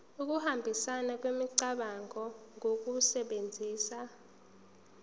ukuhambisana kwemicabango ngokusebenzisa